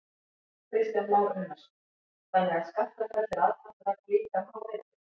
Kristján Már Unnarsson: Þannig að Skaftafell er aðdráttarafl líka um hávetur?